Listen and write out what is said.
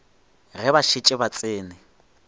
ge ba šetše ba tsene